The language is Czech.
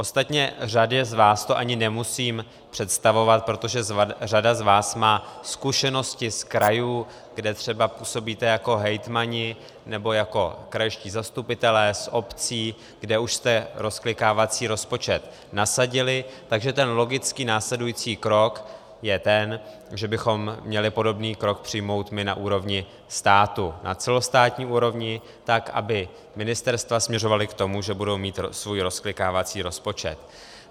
Ostatně řadě z vás to ani nemusím představovat, protože řada z vás má zkušenosti z krajů, kde třeba působíte jako hejtmani nebo jako krajští zastupitelé, z obcí, kde už jste rozklikávací rozpočet nasadili, takže ten logický následující krok je ten, že bychom měli podobný krok přijmout my na úrovni státu, na celostátní úrovni, tak aby ministerstva směřovala k tomu, že budou mít svůj rozklikávací rozpočet.